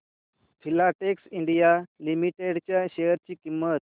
Filatex India limited च्या share ची किंमत